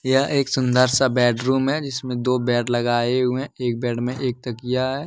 यह एक सुंदर सा बेडरूम है जिसमें दो बेड लगाए हुए एक बेड में एक तकिया है।